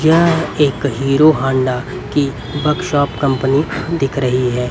यह एकहीरो होंडा की वर्कशॉप कंपनी दिख रही है.